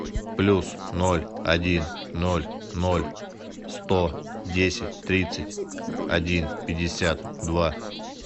плюс ноль один ноль ноль сто десять тридцать один пятьдесят два